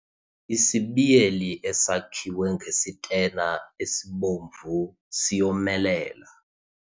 Isibiyeli esakhiwe ngesitena esibomvu siyomelela.